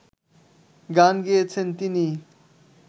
গান গেয়েছেন তিনি